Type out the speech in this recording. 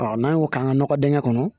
n'an y'o k'an ka nɔgɔ dingɛ kɔnɔ